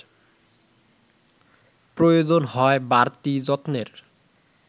প্রয়োজন হয় বাড়তি যত্নের